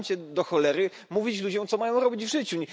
Przestańcie, do cholery, mówić ludziom, co mają robić w życiu.